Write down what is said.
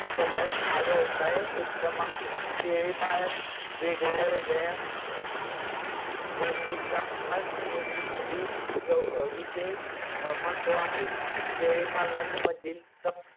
केल्यास हा व्यवसाय उत्तम आहे. शेळी पालन वेगड्यावेगड्या गोष्टींचा नोंदीसाठी विशेस महत्त्व आहे. शेळीपालनाचे मधील तप